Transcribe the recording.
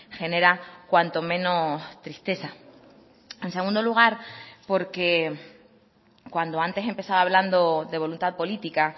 genera cuanto menos tristeza en segundo lugar porque cuando antes empezaba hablando de voluntad política